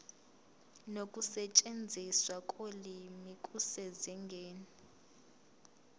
nokusetshenziswa kolimi kusezingeni